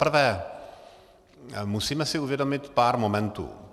Zaprvé musíme si uvědomit pár momentů.